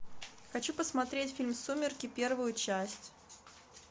хочу посмотреть фильм сумерки первую часть